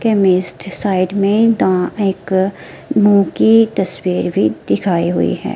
Chemist side में दा एक मुंह की तस्वीर दिखाई हुई है।